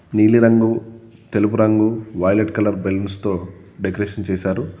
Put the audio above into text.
నీలి రంగు తెలుపు రంగు వైలెట్ కలర్ బెలూన్స్ తో డెకరేషన్ చేశారు.